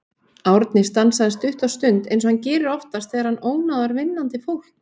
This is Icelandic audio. Árni stansaði stutta stund eins og hann gerir oftast þegar hann ónáðar vinnandi fólk.